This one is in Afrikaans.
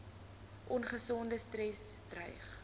ongesonde stres dreig